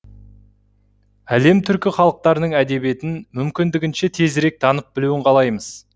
әлем түркі халықтарының әдебиетін мүмкіндігінше тезірек танып білуін қалаймыз